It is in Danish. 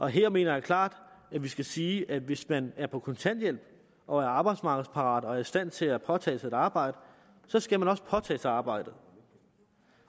her mener jeg klart at vi skal sige at hvis man er på kontanthjælp og er arbejdsmarkedsparat og er i stand til at påtage sig et arbejde så skal man også påtage sig arbejdet